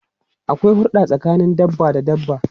Akwai hurda tsakanin dabba da dabba.